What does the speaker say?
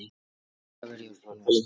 Ég vil bara vera hjá þér.